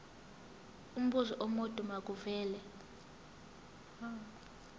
umbuzo omude makuvele